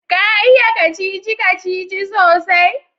Ka iya kacici-kacici sosai?